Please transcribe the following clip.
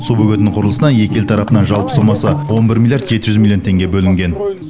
су бөгетінің құрылысына екі ел тарапынан жалпы сомасы он бір миллиард жеті жүз миллион теңге бөлінген